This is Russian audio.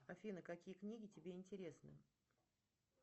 афина какие книги тебе интересны